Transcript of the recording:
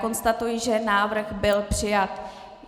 Konstatuji, že návrh byl přijat.